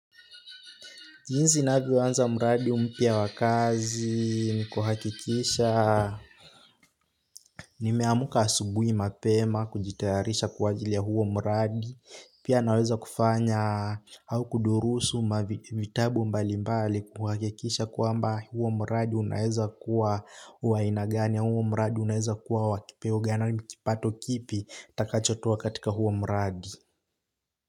Jinsi ninavyoanza mradi mpya wa kazi ni kuhakikisha. Nimeamuka asubuhi mapema kujitayarisha kwa ajili ya huo mradi. Pia naweza kufanya au kudurusu vitabu mbali mbali kuhakikisha kwamba huo mradi unaeza kuwa wa aina gani au huo mradi unaeza kuwa wa kipeo gani au kipato kipi nitakachotoa katika huo mradi.